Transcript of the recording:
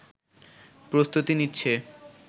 প্রস্তুতি নিচ্ছে